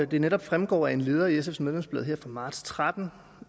det netop fremgår af en leder i sfs medlemsblad fra marts og tretten